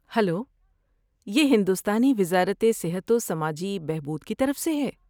Hello! یہ ہندوستانی وزارت صحت و سماجی بہبود کی طرف سے ہے۔